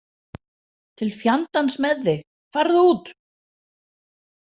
Til fjandans með þig, farðu út!